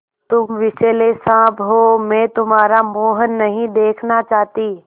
तुम विषैले साँप हो मैं तुम्हारा मुँह नहीं देखना चाहती